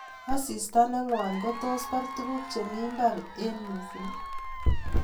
asista nengwan kotos bar tunguk chemi mbar eng mising